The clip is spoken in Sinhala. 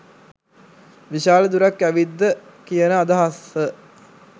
විශාල දුරක් ඇවිත්ද කියන අදහස